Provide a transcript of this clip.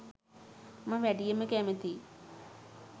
මම වැඩියෙන්ම කැමති